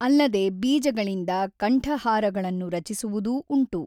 ಅಲ್ಲದೆ ಬೀಜಗಳಿಂದ ಕಂಠಹಾರಗಳನ್ನು ರಚಿಸುವುದೂ ಉಂಟು.